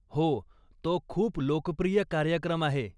हो. तो खूप लोकप्रिय कार्यक्रम आहे.